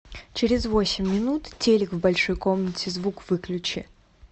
через восемь минут телик в большой комнате звук выключи